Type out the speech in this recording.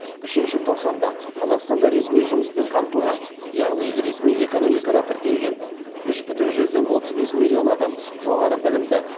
үшінші тоқсанда қазақстанда ресми жұмыспен қамтылған яғни ресми экономикада тіркелген үш бүтін жүзден отыз бес миллион адам жоғары білімді